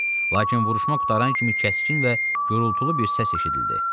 Lakin vuruşmaq qurtaran kimi kəskin və gurultulu bir səs eşidildi.